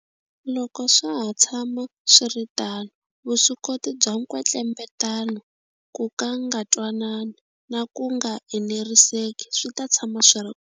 Loko swa ha ta tshama swi ri tano, vuswikoti bya nkwetlembetano, ku nga twanani na ku nga eneriseki swi ta tshama swi ri.